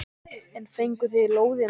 En fenguð þið lóðina frítt?